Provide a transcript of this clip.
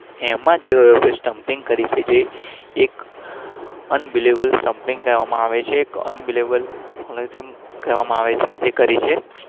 એમાં જ